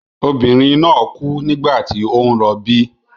Obìnrin náà kú nígbà tí ó ń rọbí.